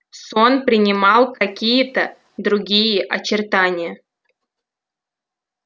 сон принимал какие то другие очертания